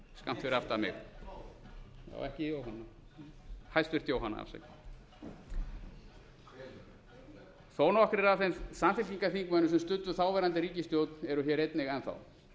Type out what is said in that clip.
skammt fyrir aftan mig ekki jóhanna hæstvirtur jóhanna afsakið þó nokkrir af þeim samfylkingarþingmönnum sem studdu þáverandi ríkisstjórn eru hér einnig enn þá